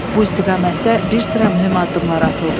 Bu istiqamətdə bir sıra mühüm addımlar atıldı.